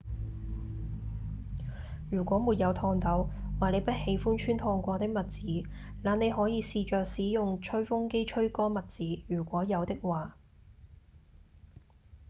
如果沒有熨斗或你不喜歡穿熨過的襪子那你可以試著使用吹風機吹乾襪子如果有的話